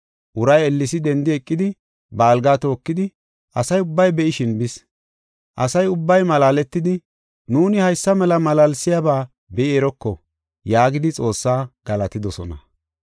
Uray ellesi dendi eqidi, ba algaa tookidi asa ubbay be7ishin bis. Asa ubbay malaaletidi, “Nuuni haysa mela malaalsiyaba be7i eroko” yaagidi Xoossaa galatidosona.